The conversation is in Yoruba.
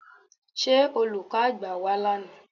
Ṣé Olùkọ́ àgbà wá lánàá?